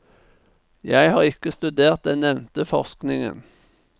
Jeg har ikke studert den nevnte forskningen.